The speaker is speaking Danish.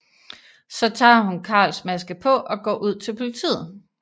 Så tager hun Carls maske på og går ud til politiet